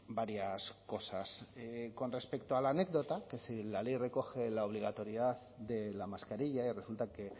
varias cosas con respecto a la anécdota que si la ley recoge la obligatoriedad de la mascarilla y resulta que